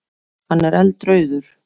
Hann er eldrauður.